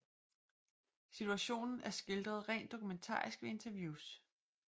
Situationen er skildret rent dokumentarisk ved interviews